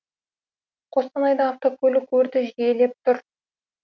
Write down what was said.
қостанайда автокөлік өрті жиілеп тұр